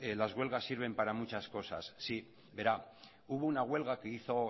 las huelgas sirven para muchas cosas sí verá hubo una huelga que hizo